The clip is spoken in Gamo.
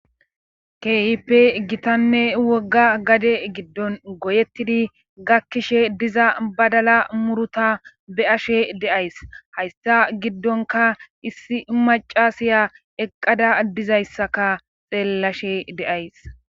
Keehipe gitanne wogga gade giddon goyettidi gakkishe diza badala muruta be ashe deays haysta giddonka issi macasiya eqqada dizayssaka xeellashe de'ays